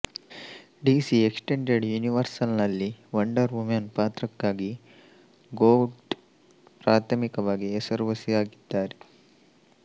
DC extended ಯೂನಿವರ್ಸ್ನಲ್ಲಿ Wonder Woman ಪಾತ್ರಕ್ಕಾಗಿ Gadot ಪ್ರಾಥಮಿಕವಾಗಿ ಹೆಸರುವಾಸಿಯಾಗಿದ್ದಾರೆ